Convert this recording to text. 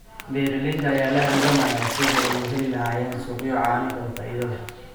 Beeralayda ayaa la halgamaya sidii ay u heli lahaayeen suuqyo caano oo faa'iido leh.